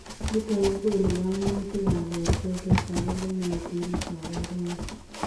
Nitok kokonuu kaimutik ap portoo chetagunotik kaparunoik.